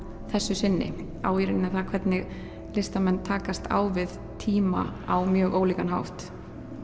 þessu sinni á það hvernig listamenn takast á við tíma á mjög ólíkan hátt